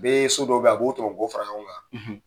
U bɛ so dɔ bɛ yen, a b'o tɔmɔ ko fara ɲɔgɔn kan